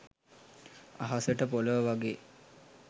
අහසට පොලව වගේ